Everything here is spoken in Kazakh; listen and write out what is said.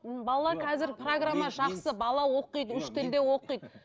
бала қазір программа жақсы бала оқиды үш тілде оқиды